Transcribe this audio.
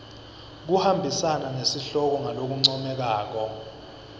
kuhambisana nesihloko ngalokuncomekako